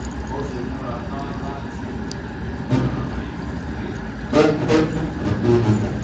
bó ṣe múra tán láti gbọ́ràn fihàn pé ó fẹ́ kí nǹkan dára sí i